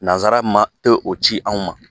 Nanzara ma e o ci anw ma.